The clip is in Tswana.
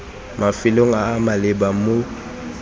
mafelong a a maleba mo